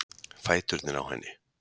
Fæturnir á henni.